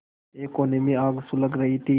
एक कोने में आग सुलग रही थी